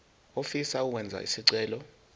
ofisa ukwenza isicelo